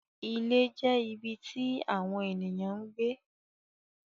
Ìlẹ̀ jẹ̀ ibí tí Àwọńènìyàn ǹ gbé.